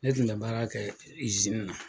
Ne tun ka baara kɛ na.